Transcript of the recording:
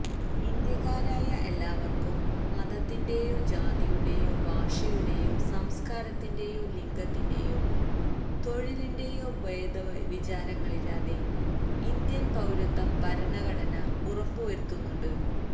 ഇന്ത്യക്കാരായ എല്ലാവര്ക്കും മതത്തിന്റെയോ ജാതിയുടെയോ ഭാഷയുടെയോ സംസ്കാരത്തിന്റെയോ ലിംഗത്തിന്റെയോ തൊഴിലിന്റെയോ ഭേദവിചാരങ്ങളില്ലാതെ ഇന്ത്യന് പൌരത്വം ഭരണഘടന ഉറപ്പുവരുത്തുന്നുണ്ട്